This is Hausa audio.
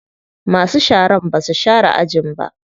Masu sharan basu share ajin ba.